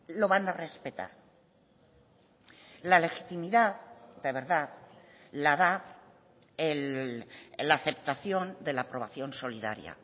lo van a respetar la legitimidad de verdad la da la aceptación de la aprobación solidaria